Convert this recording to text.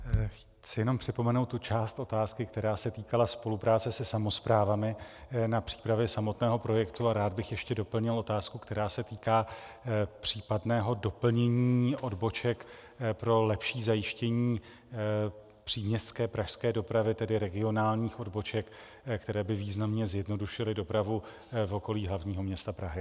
Chci jenom připomenout tu část otázky, která se týkala spolupráce se samosprávami na přípravě samotného projektu, a rád bych ještě doplnil otázku, která se týká případného doplnění odboček pro lepší zajištění příměstské pražské dopravy, tedy regionálních odboček, které by významně zjednodušily dopravu v okolí hlavního města Prahy.